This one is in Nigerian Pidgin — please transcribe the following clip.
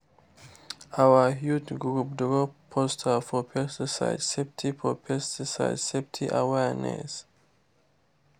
our youth group draw poster for pesticide safety for pesticide safety awareness.